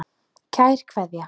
Kær Kveðja.